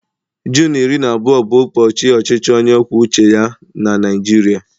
Junu iri na abụọ bụ ụbọchị ọchịchị onye kwuo uche ya na Naịjirịa